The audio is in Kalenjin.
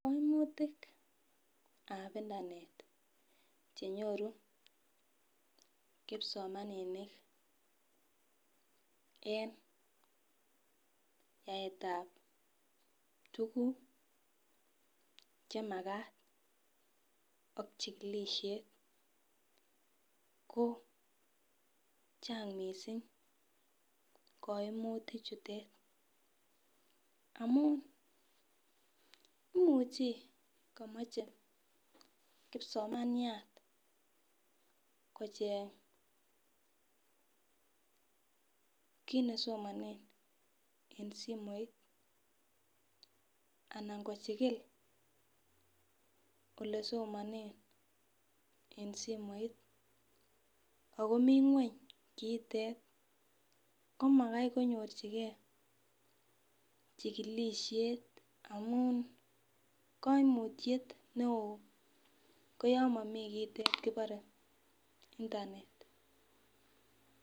Koimutik ap internet chenyoru kipsomaninik eng yaet ap tukuk chemakat ak chikilishet ko chang mising koimutik chutet amun imuchi kamoche kipsomaniat kocheny kiit nesomanen en simoit anan kochikil ole somanen en simoit akomii ng'weny kiitet komakai konyorchingei chikilishet amun koimutiet neo koyo mamii kiitet kiborei internet